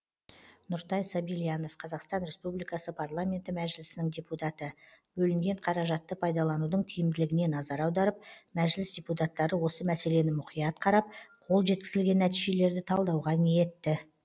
нұртай сабильянов қазақстан республикасы парламенті мәжіліснің депутаты бөлінген қаражатты пайдаланудың тиімділігіне назар аударып мәжіліс депутаттары осы мәселені мұқият қарап қол жеткізілген нәтижелерді талдауға ниетті